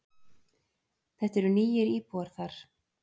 Þetta eru nýir íbúar þar.